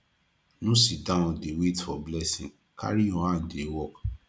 no sit down dey wait for blessing carry your hand dey work